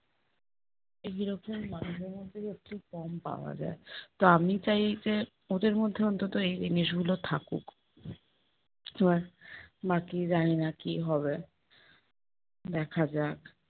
মানুষের মধ্যে হচ্ছে কম পাওয়া যায়, তো আমি চাই যে ওদের মধ্যে অন্তত এই জিনিসগুলো থাকুক। বাকি জানি না কি হবে। দেখা যাক।